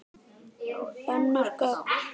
Önnur gögn.